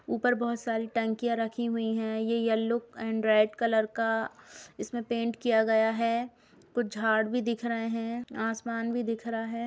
ऊपर बहुत सारी टंकियाँ रखी हुई है ये येलो एंड रेड कलर का इसमें पेंट किया गया है कुछ झाड़ भी दिख रहे हैं आसमान भी दिख रहा है।